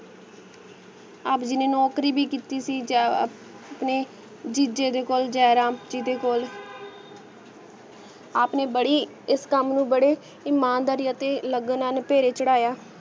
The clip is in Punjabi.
ਆਪ ਜੀ ਨੇ ਨੋਕਰੀ ਵੀ ਕਿੱਟੀ ਸੀ ਜਾ ਆਪ ਨੇ ਦਿਜੇ ਦੇ ਕੋਲ ਜੀਰਾਂ ਜਿਡੇ ਕੋਲ ਆਪ ਨੇ ਬਾਰੀ ਇਸ ਕਾਮ ਨੂ ਬਾਰੇ ਇਮਾਨਦਾਰੀ ਅਤੀ ਲਗਨਾ ਨੂ ਪੀਰੀ ਚਾਰ੍ਹਾਯਾ